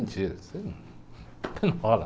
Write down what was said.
Mentira isso ai num rola